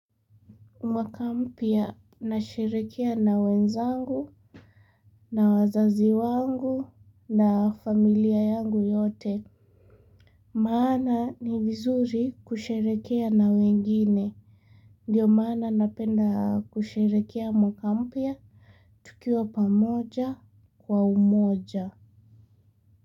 Mwaka mpya nasherehekea na wenzangu, na wazazi wangu, na familia yangu yote. Maana ni vizuri kusherehekea na wengine. Ndiyo maana napenda kusherehekea mwaka mpya. Tukiwa pamoja kwa umoja.